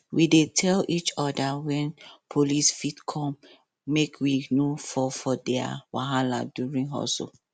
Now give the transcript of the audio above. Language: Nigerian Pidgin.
we dey tell each other when police fit come make we no fall for their wahala during hustle